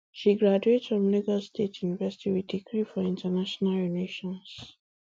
she graduate from lagos state university wit degree for international relations